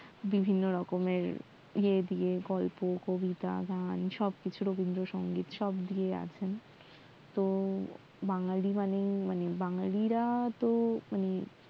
বিভিন্ন রকমের রেডিও, গল্প, কবিতা, গান সব কিছু রবিন্দ্রসঙ্গিত সব দিয়ে আছেন তো বাঙালি মানে বাঙালি রা তহ